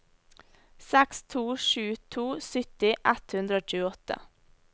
seks to sju to sytti ett hundre og tjueåtte